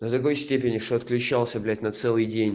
до такой степени что отключался блять на целый день